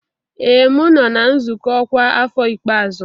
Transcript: Ee m nọ na nzukọ ọkwa afọ ikpeazụ